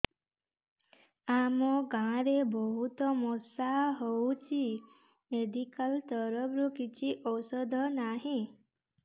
ଆମ ଗାଁ ରେ ବହୁତ ମଶା ହଉଚି ମେଡିକାଲ ତରଫରୁ କିଛି ଔଷଧ ନାହିଁ